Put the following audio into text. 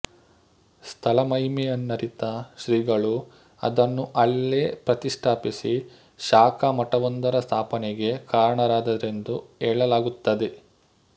ಸ್ಥಳಮಹಿಮೆಯನ್ನರಿತ ಶ್ರೀಗಳು ಅದನ್ನು ಅಲ್ಲೇ ಪ್ರತಿಷ್ಠಾಪಿಸಿ ಶಾಖಾ ಮಠವೊಂದರ ಸ್ಥಾಪನೆಗೆ ಕಾರಣರಾದರೆಂದು ಹೇಳಲಾಗುತ್ತದೆ